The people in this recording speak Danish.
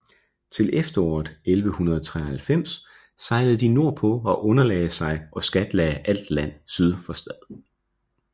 Til efteråret 1193 sejlede de nordpå og underlagde sig og skatlagde alt land syd for Stad